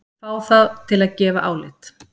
Fá það til að gefa álit